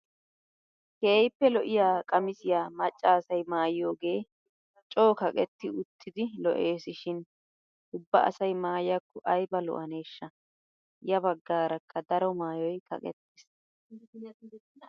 Keehippe lo"iyaa qamisiyaa macca asay mayiyoogee coo kaqetti uttidi lo"esishin ubba asay maayiyaakko ayba lo"aneeshsha! ya baggaarakka daro maayoy kaqettiis.